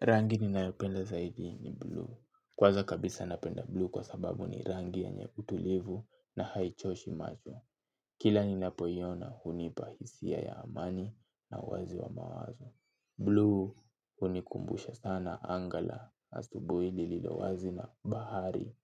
Rangi ni nayopenda zaidi ni bluu. Kwaza kabisa napenda bluu kwa sababu ni rangi yenye utulivu na haichoshi macho. Kila ni napoiona hunipa hisia ya amani na uwazi wa mawazo. Bluu hunikumbusha sana angaa la asubui lililo wazi na bahari